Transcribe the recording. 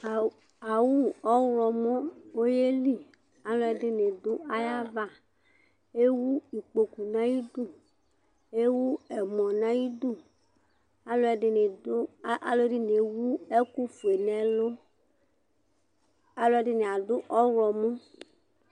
Ɔwu ɔwlɔmɔ ɔyeli Alʋɛdìní du ayu ava Ewu ikpoku nʋ ayʋ idu Ewu ɛmɔ nʋ ayʋ idu Alʋɛdìní ɛwu ɛku fʋe nʋ ɛlu Alʋɛdìní adu ɔwlɔmɔ